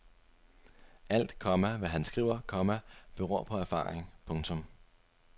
Alt, komma hvad han skriver, komma beror på erfaring. punktum